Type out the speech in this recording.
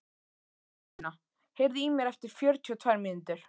Pálína, heyrðu í mér eftir fjörutíu og tvær mínútur.